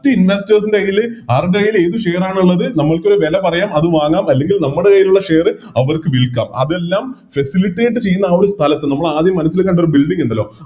റ്റ് Investors ൻറെ കൈയില് RBI ല് ഏത് Share ആണോ ഇള്ളത് നമ്മൾക്കൊരു വെലപറയാം അത് വാങ്ങാം അല്ലെങ്കിൽ നമ്മടെ കൈയിലുള്ള Share അവർക്ക് വിൽക്കാം അതെല്ലാം Facilitate ചെയുന്ന ആ ഒരു സ്ഥലത്ത് നമ്മളാദ്യം മനസ്സിൽ കണ്ട ആ Building ഇണ്ടല്ലോ